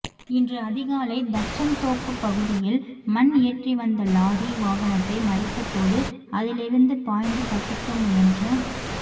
இன்று அதிகாலை தச்சன்தோப்பு பகுதியில் மண் ஏற்றிவந்த லாறி வாகனத்தை மறித்தபோது அதிலிருந்து பாய்ந்து தப்பிக்க முயன்ற